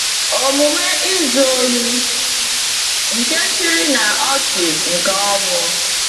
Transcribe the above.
Omume izu ohi nke chịrị n’ọchị nke ọnwụ.